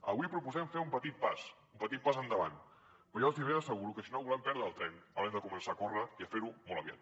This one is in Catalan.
avui proposem fer un petit pas un petit pas endavant però jo els ben asseguro que si no volem perdre el tren haurem de començar a córrer i a fer ho molt aviat